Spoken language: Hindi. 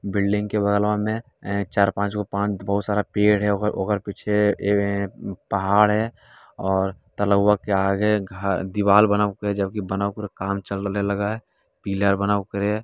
बिल्डिंग के बगलवा में य चार-पाँचगो पान बहुत सारा पेड़ है ओकर पीछे ए पहाड़ है और तलाऊवा के आगे घ दीवाल बना हुआ है जबकी बना हुआ पूरा काम चलने लगा है पिलर बनाओ ओकरे।